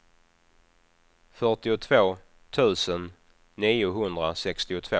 fyrtiotvå tusen niohundrasextiotvå